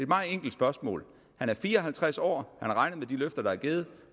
meget enkelt spørgsmål han er fire og halvtreds år har regnet med de løfter der er givet